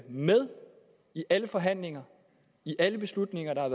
med i alle forhandlinger i alle beslutninger der er